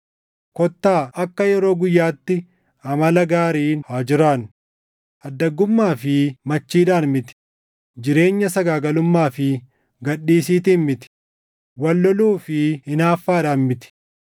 Kottaa akka yeroo guyyaatti amala gaariin haa jiraannu; addaggummaa fi machiidhaan miti; jireenya sagaagalummaa fi gad dhiisiitiin miti; wal loluu fi hinaaffaadhaan miti.